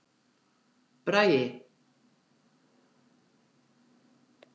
Bragi